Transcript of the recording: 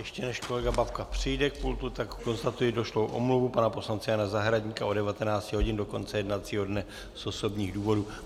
Ještě než kolega Babka přijde k pultu, tak konstatuji došlou omluvu pana poslance Jana Zahradníka od 19 hodin do konce jednacího dne z osobních důvodů.